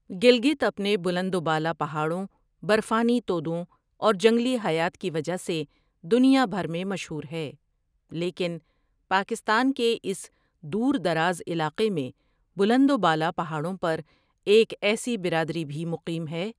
گلگت اپنے بلند و بالا پہاڑوں، برفانی تودوں اور جنگلی حیات کی وجہ سے دنیا بھر میں مشہور ہے لیکن پاکستان کے اس دور دراز علاقے میں بلند و بالا پہاڑوں پر ایک ایسی برادری بھی مقیم ہے ۔